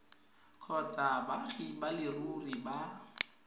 kgotsa baagi ba leruri ba